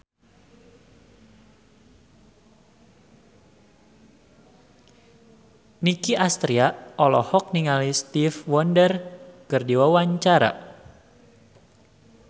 Nicky Astria olohok ningali Stevie Wonder keur diwawancara